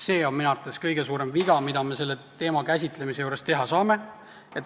See on minu arvates kõige suurem viga, mida me selle teema käsitlemisel teha saame.